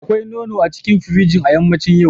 Akwai nono a cikin firiji a yammacin yau.